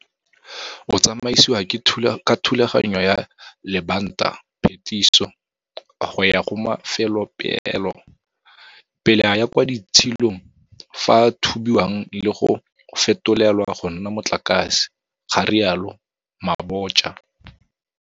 O tsamaisiwa ka thulaganyo ya lebantaphetiso go ya go mafelopeelo, pele a ya kwa ditshilong fao a thubiwang le go fetolelwa go nna motlakase, ga rialo Mabotja.